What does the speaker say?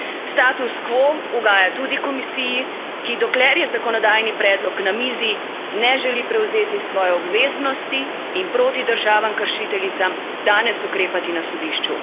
Status quo ugaja tudi Komisiji, ki, dokler je zakonodajni predlog na mizi, ne želi prevzeti svoje obveznosti in proti državam kršiteljicam danes ukrepati na sodišču.